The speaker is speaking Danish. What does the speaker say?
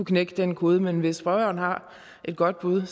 knække den kode men hvis spørgeren har et godt bud